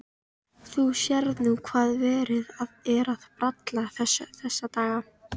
Þú sérð nú hvað verið er að bralla þessa dagana.